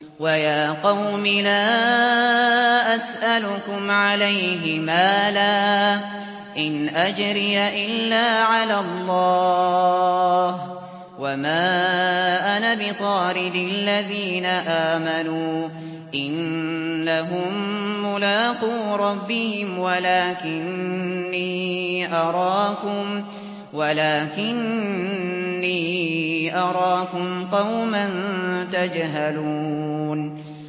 وَيَا قَوْمِ لَا أَسْأَلُكُمْ عَلَيْهِ مَالًا ۖ إِنْ أَجْرِيَ إِلَّا عَلَى اللَّهِ ۚ وَمَا أَنَا بِطَارِدِ الَّذِينَ آمَنُوا ۚ إِنَّهُم مُّلَاقُو رَبِّهِمْ وَلَٰكِنِّي أَرَاكُمْ قَوْمًا تَجْهَلُونَ